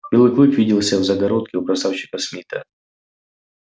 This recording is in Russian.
белый клык виделся в загородке у красавчика смита